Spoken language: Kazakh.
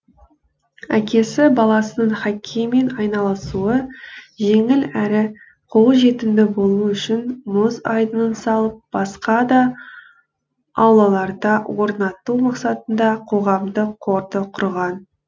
әкесі баласының хоккеймен айналысуы жеңіл әрі қолжетімді болуы үшін мұз айдынын салып басқа да аулаларда орнату мақсатында қоғамдық қорды құрған